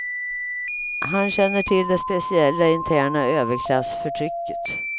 Han känner till det speciella interna överklassförtrycket.